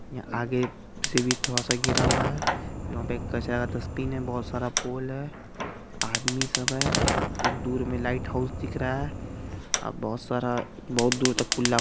यहाँ आगे से भी थोड़ा सा सारा घिरा हुआ है यहाँ पर कचरा सा स्पिन है बोहोत सर पोल है आदमी सब है एक दूर मे लाइटहाउस दिख रहा है ओर बहुत सारा बहुत दूर तक कुल्ला--